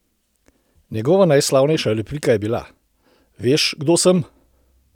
Njegova najslavnejša replika je bila: "Veš, kdo sem?